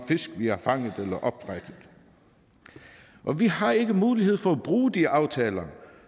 fisk vi har fanget eller opdrættet og vi har ikke mulighed for at bruge de aftaler